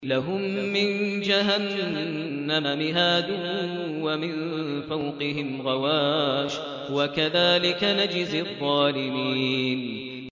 لَهُم مِّن جَهَنَّمَ مِهَادٌ وَمِن فَوْقِهِمْ غَوَاشٍ ۚ وَكَذَٰلِكَ نَجْزِي الظَّالِمِينَ